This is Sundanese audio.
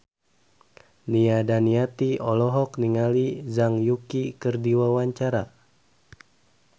Nia Daniati olohok ningali Zhang Yuqi keur diwawancara